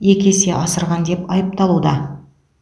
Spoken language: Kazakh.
екі есе асырған деп айыпталуда